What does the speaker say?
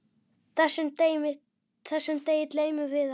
Þessum degi gleymum við ekki.